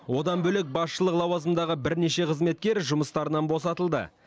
одан бөлек басшылық лауазымдағы бірнеше қызметкер жұмыстарынан босатылды